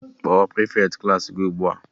Kpọọ prịfeti Klassị gị ugbua!